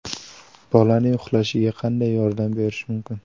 Bolaning uxlashiga qanday yordam berish mumkin?